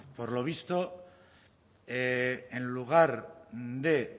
por lo visto en lugar de